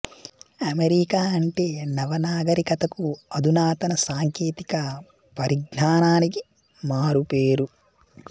America అంటే నవ నాగరికతకు అధునాతన సాంకేతిక పరిజ్ఞానానికి మారు పేరు